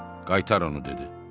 Qaytar onu, dedi.